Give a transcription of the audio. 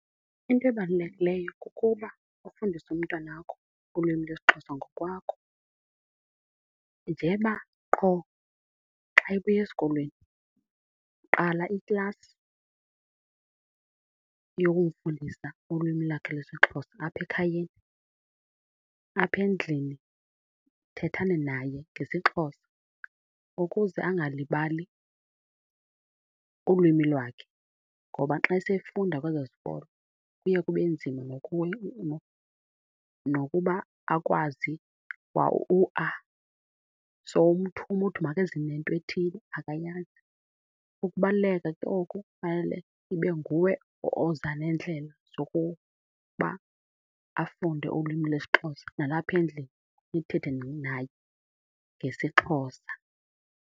Into ebalulekileyo kukuba ufundise umntwanakho ulwimi lwesiXhosa ngokwakho. Njeba qho xa ebuya esikolweni qala iklasi yokumfundisa ulwimi lakhe lwesiXhosa apha ekhayeni. Apha endlini thethani naye ngesiXhosa ukuze angalibali ulwimi lwakhe. Ngoba xa sefunda kwezo zikolo kuye kube nzima nokuya nokuba akwazi kwa u-A. Sowumthuma uthi makeze nento ethile, akayazi. Ukubaluleka ke oku fanele ibe nguwe oza neendlela zokuba afunde ulwimi lwesiXhosa, nalapha endlini nithethe naye ngesiXhosa.